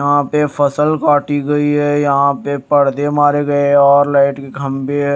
यहां पे फसल काटी गई है यहां पे पर्दे मारे गए हैं और लाइट के खंभे--